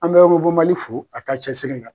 An bɛ robo Mali fo a ka cɛsiri la.